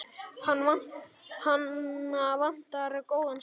Hana vantar góðan strák.